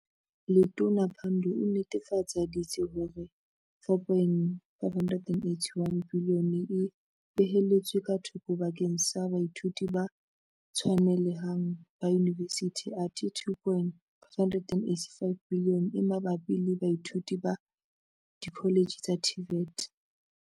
Letona Pandor o nnetefa ditse hore 4.581 biliyone e beheletswe ka thoko bakeng sa baithuti ba tshwanele hang ba yunivesithi athe 2.585 biliyone e mabapi le baithuti ba dikholetjhe tsa TVET.